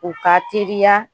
U ka teriya